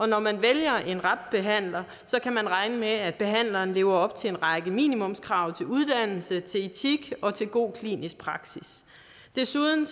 når man vælger en rab behandler kan man regne med at behandleren lever op til en række minimumskrav til uddannelse til etik og til god klinisk praksis desuden